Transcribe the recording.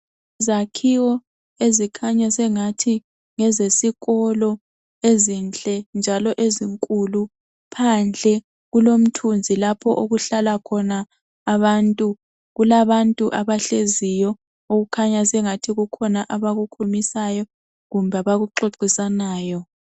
Izakhiwo ezikhanya sengathi ngezesikolo ezinhle njalo ezinkulu phandle kulomthunzi lapho okuhlala khona abantu. Kula bantu abahleziyo okukhanya ukuthi kukhona abakhulumisanayo kumbe abakuxoxisanayo.